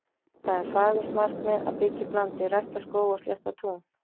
Það er fagurt markmið að byggja upp landið, rækta skóga og slétta tún.